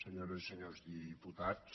senyores i senyors diputats